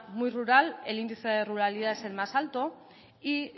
muy rural el índice de ruralidad es el más alto y